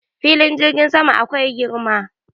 Filin jirgin sama akwai girma.